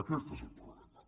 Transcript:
aquest és el problema